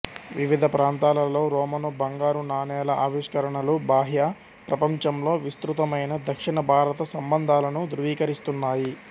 వివిధ ప్రాంతాలలో రోమను బంగారు నాణేల ఆవిష్కరణలు బాహ్య ప్రపంచంతో విస్తృతమైన దక్షిణ భారత సంబంధాలను ధృవీకరిస్తున్నాయి